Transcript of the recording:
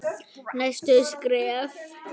Næstu skref?